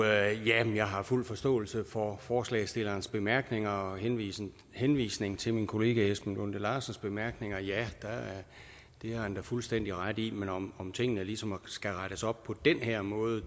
er jamen jeg har fuld forståelse for forslagsstillerens bemærkninger og henvisning henvisning til min kollega esben lunde larsens bemærkninger ja det har han da fuldstændig ret i men om tingene ligesom skal rettes op på den her måde